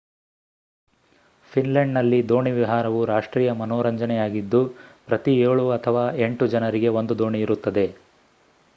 ಫಿನ್ಲೆಂಡ್‌ನಲ್ಲಿ ದೋಣಿ ವಿಹಾರವು ರಾಷ್ಟ್ರೀಯ ಮನೋರಂಜನೆಯಾಗಿದ್ದು ಪ್ರತಿ ಏಳು ಅಥವಾ ಎಂಟು ಜನರಿಗೆ ಒಂದು ದೋಣಿ ಇರುತ್ತದೆ